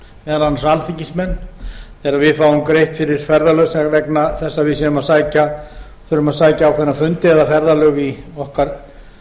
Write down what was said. meðal annars alþingismenn þegar við fáum greitt fyrir ferðalög vegna þess að við þurfum að sækja ákveðna fundi eða ferðalög í okkar